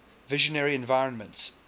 visionary environments